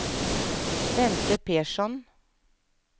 Bente Persson